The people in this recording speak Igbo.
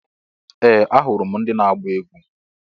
Ee! Ahụrụ m ndị na-agba egwu.